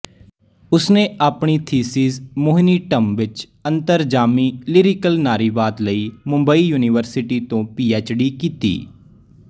ਉਸ ਨੇ ਆਪਣੀ ਥੀਸਸ ਮੋਹਿਨੀੱਟਮ ਵਿੱਚ ਅੰਤਰਜਾਮੀ ਲਿਰਿਕਲ ਨਾਰੀਵਾਦ ਲਈ ਮੁੰਬਈ ਯੂਨੀਵਰਸਿਟੀ ਤੋਂ ਪੀਐਚ